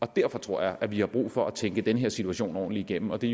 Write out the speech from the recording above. derfor tror jeg at vi har brug for at tænke den her situation ordentligt igennem og det